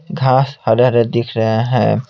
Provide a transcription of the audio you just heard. घास हरे-हरे दिख रहे है।